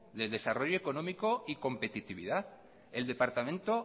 de desarrollo económico y competitividad el departamento